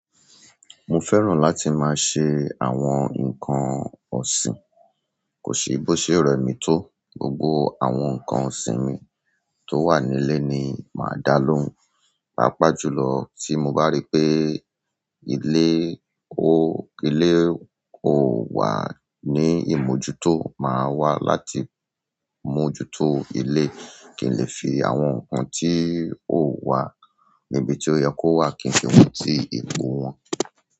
Mo fẹ́ràn láti máa ṣe àwọn nǹkan ọ̀sìn, kò sí bó ṣe rẹ̀ mi tó. Gbogbo àwọn nǹkan ọ̀sìn mi tó wà nílé ni màá dá lóhùn. Pápá jùlọ tí mo bá rí pé ilé kò wà ní ìmójútó, màá wá láti mójútó ilé. Kì í lè fi àwọn nǹkan tí ò wà níbi tí ó yẹ kó wà, kì í fi wọn sí ipò wọ́n.